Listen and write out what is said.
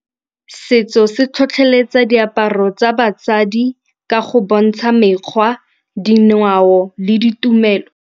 Setso se tlhotlheletsa diaparo tsa basadi ka go bontsha mekgwa, dingwao le ditumelo.